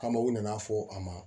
Kama u nana fɔ a ma